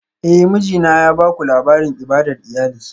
Eh, mijina ya baku labarin ibadar iyali